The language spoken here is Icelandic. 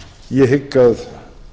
ég hygg að